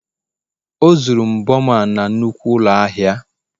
o zuru mbo a na nnukwu ụlọ ahịa